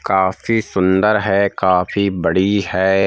काफी सुंदर है काफी बड़ी है।